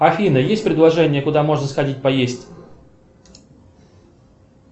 афина есть предложение куда можно сходить поесть